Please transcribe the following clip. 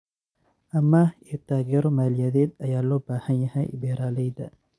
Amaah iyo taageero maaliyadeed ayaa loo baahan yahay beeralayda.